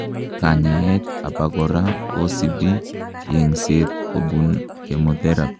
kanyaet abakora kisibi yengset kobun chemotherapy